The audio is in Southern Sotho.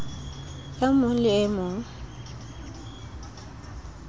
e mong le e mong